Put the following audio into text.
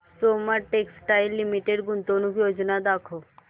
Soma textile limited गुंतवणूक योजना दाखव